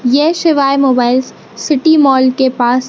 ये शिवाय mobiles city mall के पास--